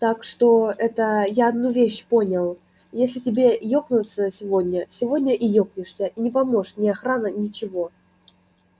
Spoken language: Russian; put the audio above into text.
так что это я одну вещь понял если тебе ёкается сегодня сегодня и ёкнешься и не поможет ни охрана ничего